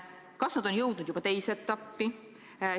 Kas nad on jõudnud juba teise etappi?